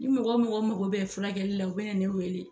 Ni mɔgɔ mɔgɔ mako bɛ furakɛli la u bɛ na ne wele.